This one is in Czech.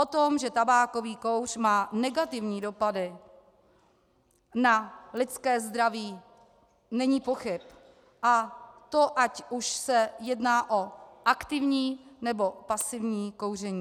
O tom, že tabákový kouř má negativní dopady na lidské zdraví, není pochyb, a to ať už se jedná o aktivní, nebo pasivní kouření.